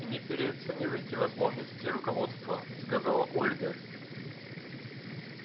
не переоценивайте возможностей руководства сказала ольга